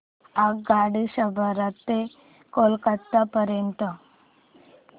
आगगाडी छपरा ते कोलकता पर्यंत